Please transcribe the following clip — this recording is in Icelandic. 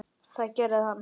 Það gerði hann.